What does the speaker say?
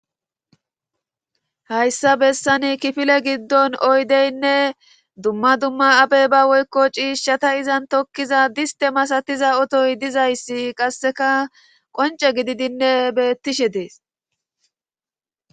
Hayssa bessani kifile giddon oydeynne dumma dumma abey ba woykko ciishshata izan tokkiza diste masatiza otoy dizayssi qasseka qonce gididinne bettishe dees.